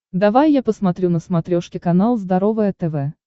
давай я посмотрю на смотрешке канал здоровое тв